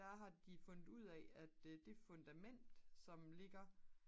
der har de fundet ud af at det fundament som ligger